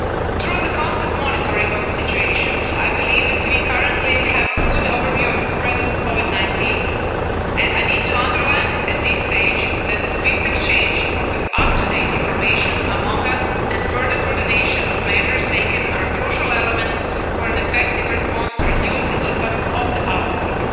Through the constant monitoring of the situation, I believe that we currently have a good overview of the spread of Covid 19 and I need to underline at this stage that the swift exchange of up to date information among us, and further coordination of measures taken, are crucial elements for an effective response to reduce the impact of the outbreak.